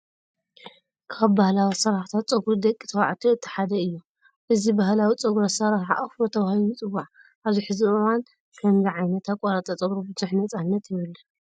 ካብ ባህላዊ ኣሰራርሓታት ፀጉሪ ደቂ ተባዕትዮ እቲ ሓደ እዩ። እዚ ባህላዊ ፀጉሪ ኣሰራርሓ ኣፍሮ ተባሂሉ ይፅዋዕ። ኣብዚ ሕዚ እዋን ከምዚ ዓይነት ኣቆራርፃ ፀጉሪ ብዙሕ ነፃነት የብሉን።